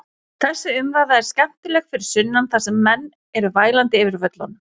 Þessi umræða er skemmtileg fyrir sunnan þar sem menn eru vælandi yfir völlunum.